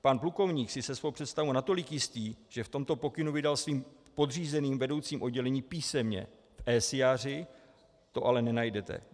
Pan plukovník si je svou představou natolik jistý, že v tomto pokynu vydal svým podřízeným vedoucím oddělení písemně, v esiáři to ale nenajdete.